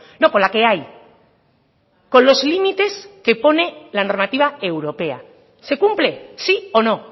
no con la que hay con los límites que pone la normativa europea se cumple sí o no